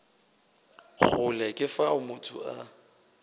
kgole ke fao motho a